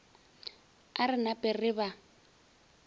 a re nape re ba